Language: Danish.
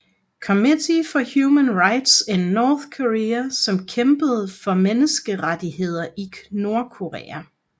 Committee for Human Rights in North Korea som kæmpede for menneskerettigheder i Nordkorea